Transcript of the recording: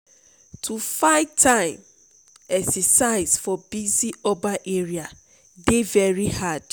to find time exercise for busy urban area dey very hard.